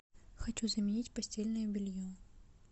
хочу заменить постельное белье